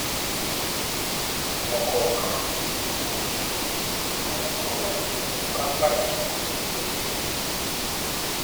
ọ̀kọ̀ọ̀kan um àwọn nǹkan wọ̀nyí ni ó kápá ìtumọ̀ tó péye.